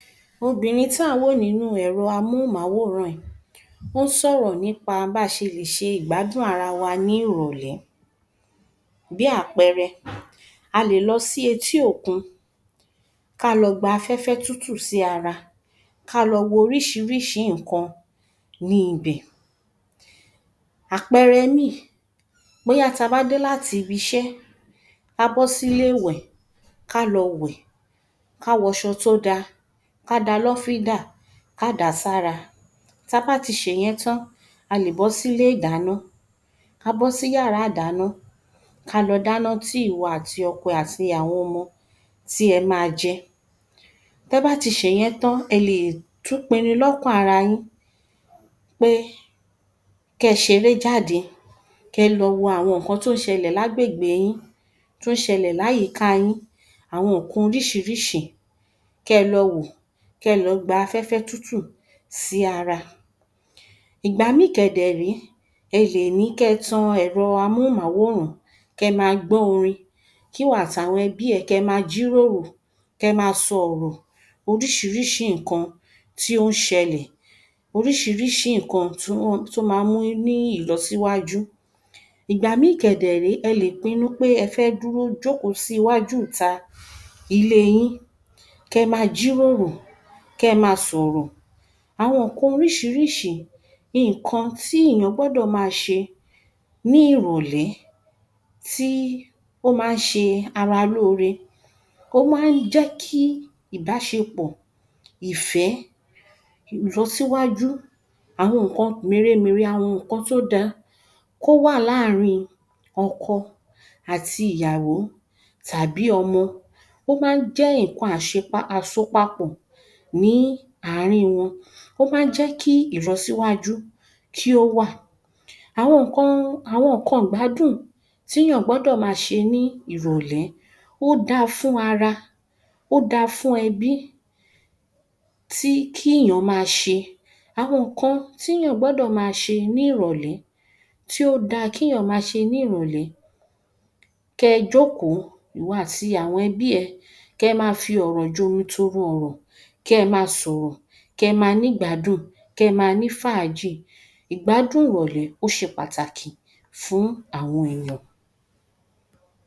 Obìnrin tá ń wò nínú ẹ̀rọ amóhùnmáwòrán yìí, ó ń sọ̀rọ̀ nípá bá ṣe le ṣe ìgbádùn ara wa ní ìrọ̀lẹ́, bí àpẹrẹ a lẹ̀ lọ sí etí òkun ká gbafẹ́fẹ́ tútù sí ara, ká lọ wo oríṣiríṣi nǹkan ní ebè. Àpẹẹrẹ míì bóyá tá bá dé láti ibiṣẹ́ ká bọ́ sílé ìwẹ̀, ká lọ wẹ̀ ká wọṣọ tó dá, ká da lọ́fíndà, ká dà á sára. Tá bá ti ṣe ìyẹn tán, a lẹ̀ bọ́ sílé ìdáná, ká bọ́ sí yàrá ìdáná ká lọ dáná tí ìwọ àti ọkọ àti àwọn ọmọ tí ẹ má jẹ. Tẹ́ bá ti ṣèyen tán ẹ lè tún pinu lọ́kàn ara yín pé kẹ́ ṣeré jáde kẹ́ lọ wo àwọn nǹkan tó ń ṣẹlẹ̀ lágbègbè yín tó ń ṣẹlẹ̀ láyìká yín, àwọn nǹkan oríṣríṣi, kẹ́ lọ wẹ̀, kẹ́ lọ gba afẹ́fẹ́ tútù sí ara. Ìgbà míì kẹ̀dẹ̀ rèé ẹ lè ní kẹ́ tan ẹ̀rọ amọ́hùnmáwòrán, kẹ́ má gbọ́ orin, kíwọ àtàwọn ẹbí ẹ kẹ́ má jíròrò, kẹ́ má sọ̀rọ̀ oríṣiríṣi nǹkan tí ó ń ṣẹlẹ̀, sọ̀rọ̀ oríṣiríṣi nǹkan tí ó má ń tí ó má ń mú ìlọsíwásíwájú. Ìgbà míì kẹ̀dẹ̀ rèé, ẹ lẹ̀ pinu pé ẹ fẹ́ dúró jókòó síwájú ìta ilé yín, kẹ́ má jíròrò, kẹ́ má sọ̀rọ̀. Àwọn nǹkan oríṣiríṣi nǹkan tí èyàn gbọ́dọ̀ má ṣe ní ìrọ̀lẹ́ tí ó má ń ṣe ara lóre, kó má ń jẹ́ kí ìbáṣepọ̀, ìfẹ́, ìlọsíwájú, àwọn nǹkan mère mère, àwọn nǹkan tó dá kó wà láàrin ọkọ àti ìyàwó tàbí ọmọ. Ó má ń jẹ́ nǹkan àṣepa, àṣepapọ̀ ní àrin, ó má ń jẹ́ kí ìlọsíwájú kí ó wà. Àwọn nǹkan, àwọn nǹkan ìgbádùn, tí èyàn gbọ́dọ̀ má ṣe ní ìrọ̀lẹ́, ó dá fún ara ó dá fún ẹbí tí kíyàn má sẹ. Àwọn nǹkan tíyàn gbọ́dọ̀ má ṣe ní ìrọ̀lẹ́ tí ó dá kíyàn má ṣe ní ìrọ̀lẹ́ kẹ́ jókòó ìwọ àti àwọn ẹbí ẹ, kẹ́ má fi ọ̀rọ̀ jómitoro ọ̀rọ̀, kẹ́ má sọ̀rọ̀, kẹ́ má ní ìgbádùn kẹ́ má ní fàájì. Ìgbádùn ìrọ̀lẹ́ ó ṣe pàtàkì fún àwọn èyàn.